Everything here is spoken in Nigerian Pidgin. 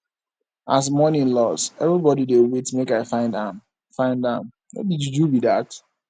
as money loss everybodi dey wait make i find am find am no be juju be dat